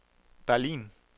Berlin